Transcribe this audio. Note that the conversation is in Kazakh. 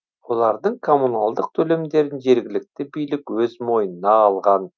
олардың коммуналдық төлемдерін жергілікті билік өз мойнына алған